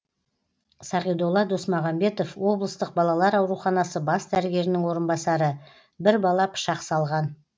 сағидолла досмағанбетов облыстық балалар ауруханасы бас дәрігерінің орынбасары бір бала пышақ салған